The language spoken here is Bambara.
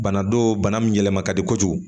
Bana do bana min yɛlɛma ka di kojugu